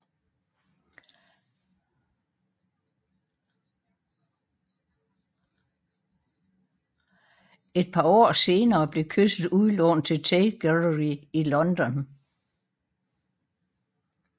Et par år senere blev Kysset udlånt til Tate Gallery i London